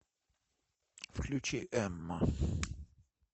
включи эмма